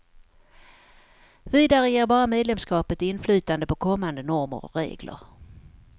Vidare ger bara medlemskapet inflytande på kommande normer och regler.